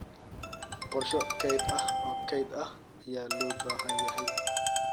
Qorshe kayd ah oo kayd ah ayaa loo baahan yahay.